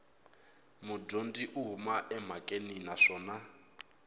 mudyondzi u huma emhakeni naswona